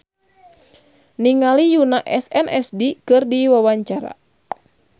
Dewi Novitasari olohok ningali Yoona SNSD keur diwawancara